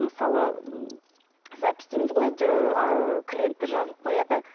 мысалы ы запись дейміз ғой ыыы клиент те жазылып қояды